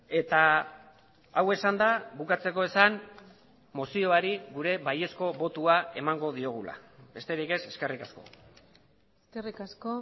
eta hau esanda bukatzeko esan mozioari gure baiezko botoa emango diogula besterik ez eskerrik asko eskerrik asko